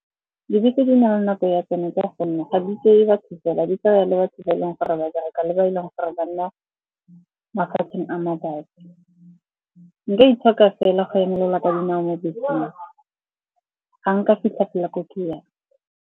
Dibese di na le nako ya tsone ka gonne ga di itseye batho fela, di tsaya le batho ba e leng gore ba bereka le ba e leng gore ba nna mafatsheng a mabapi. Nka itshoka fela go emelela ka dinao mo beseng, ga nka fitlha fela ko ke yang.